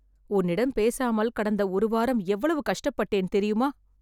உன்னிடம் பேசாமல், கடந்த ஒரு வாரம் எவ்வளவு கஷ்டப்பட்டேன் தெரியுமா..